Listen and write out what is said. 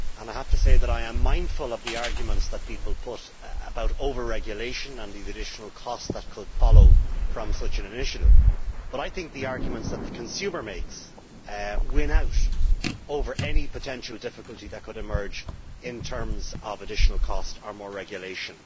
I have to say that I am mindful of the arguments that people put about over regulation and the additional cost that could follow from such an initiative, but I think the arguments that the consumer makes win out over any potential difficulty that could emerge in terms of additional cost or more regulation.